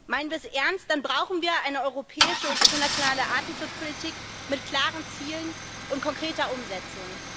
Meinen wir es ernst, dann brauchen wir eine europäische und internationale Artenschutzpolitik mit klaren Zielen und konkreter Umsetzung.